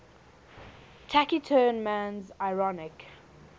taciturn man's ironic